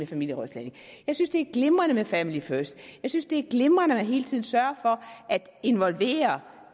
familierådslagning jeg synes det er glimrende med family first jeg synes det er glimrende at man hele tiden sørger for at involvere